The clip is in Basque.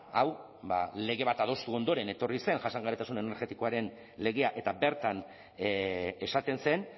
hau lege bat adostu ondoren etorri zen jasangarritasun energetikoaren legea eta bertan esaten zen